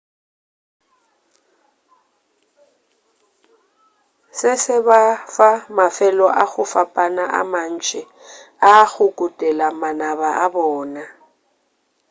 se se ba fa mafelo a go fapana a mantši a go kutela manaba a bona